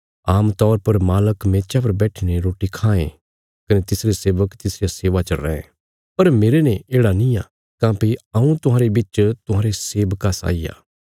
आमतौर पर मालक मेचा पर बैठीने रोटी खायें कने तिसरे सेवक तिसरिया सेवा च रैं पर मेरने येढ़ा निआं काँह्भई हऊँ तुहांरे बिच तुहांरे सेवका साई आ